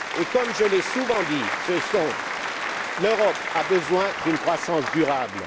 Et, comme je l'ai souvent dit, l'Europe a besoin d'une croissance durable.